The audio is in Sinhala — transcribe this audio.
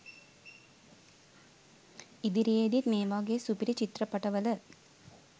ඉදිරියේදිත් මේ වගේ සුපිරි චිත්‍රපට වල